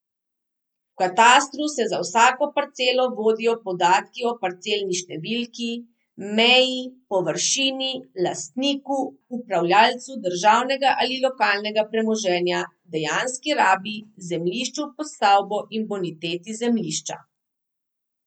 V katastru se za vsako parcelo vodijo podatki o parcelni številki, meji, površini, lastniku, upravljalcu državnega ali lokalnega premoženja, dejanski rabi, zemljišču pod stavbo in boniteti zemljišča.